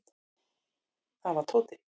Það var Tóti.